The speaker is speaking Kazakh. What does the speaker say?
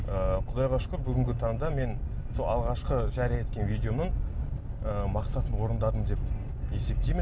ыыы құдайға шүкір бүгінгі таңда мен сол алғашқы жария еткен видеоның ы мақсатын орындадым деп есептеймін